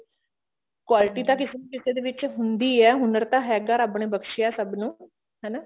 quality ਤਾਂ ਕਿਸੇ ਨਾ ਕਿਸੇ ਵਿੱਚ ਹੁੰਦੀ ਹੈ ਹੁਨਰ ਤਾਂ ਹੈਗਾ ਰੱਬ ਨੇ ਬਕਸ਼ਿਆ ਸਭ ਨੂੰ ਹਨਾ